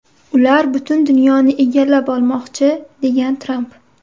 Ular butun dunyoni egallab olmoqchi”, degan Tramp.